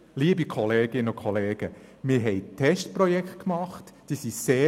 Wir haben sehr erfolgreich verlaufene Testprojekte durchgeführt.